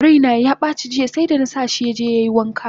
Raina yabaci jiya seda! nasa shi yaje yai wanka!